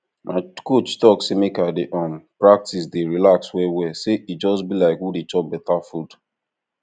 my coach talk say make i dey um practice dey relax well well say e just be like who dey chop better food